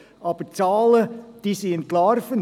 Die Zahlen sind jedoch entlarvend!